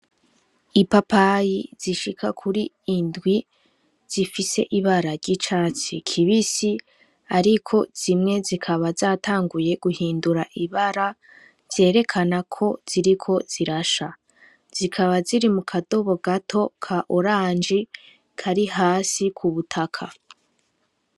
Ipapayi zishika kuri indwi, zifise ibara ry'icatsi kibisi, ariko zimwe zikaba zatanguye guhindura ibara, vyerekana ko ziriko zirasha, zikaba ziri mukadobo gato gasa n'umuhondo Kari hasi kubutaka.